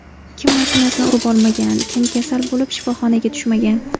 Kim mashinasini urib olmagan, kim kasal bo‘lib, shifoxonaga tushmagan.